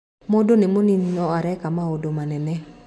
Mũndũ nĩ mũnini no areka maũndũ manene.